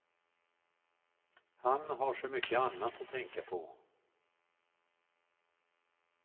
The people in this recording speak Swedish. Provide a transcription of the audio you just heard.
Han har så mycket annat att tänka på.